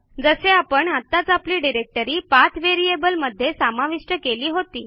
जसे आपण आत्ताच आपली डिरेक्टरी पाठ व्हेरिएबल मध्ये समाविष्ट केली होती